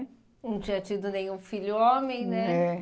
Não tinha tido nenhum filho homem, né? É.